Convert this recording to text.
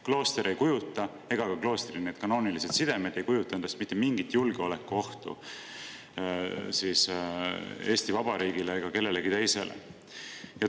Klooster ega ka kloostri kanoonilised sidemed ei kujuta endast mitte mingit julgeolekuohtu Eesti Vabariigile ega kellelegi teisele.